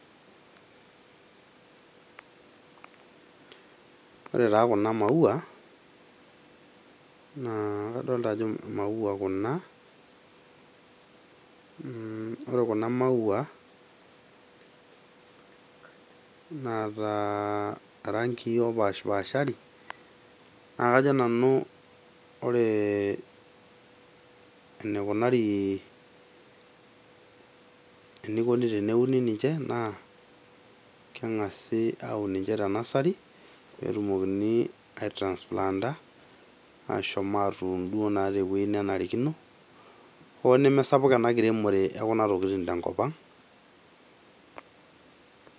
Ore taa kuna maua naa kadol ajo maua kuna, mmm ore kuna maua ,naata irangii opashpashari naa kajo nanu ore enikunari, enikoni teneuni ninche naa kengasi auni ninche te nursery peetumokini aitransplanta ashom atuun tewuei naa nenarikino hoo nemesapuk enkiremore ekuna tokitin tenkop ang.